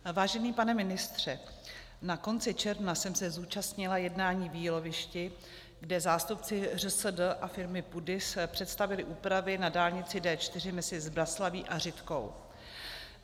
Vážený pane ministře, na konci června jsem se zúčastnila jednání v Jílovišti, kde zástupci ŘSD a firmy PUDIS představili úpravy na dálnici D4 mezi Zbraslaví a Řitkou.